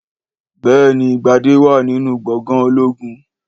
Béèni Gbadẹ́ wà nínú Gbòngan ológun